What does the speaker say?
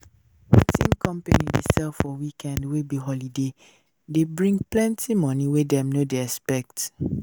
wetin company dey sell for weekend wey be holiday dey bring plenty money wey dem no dey expect